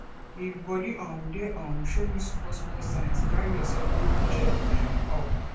if body um dey um show you small small signs carry yourself go do check um up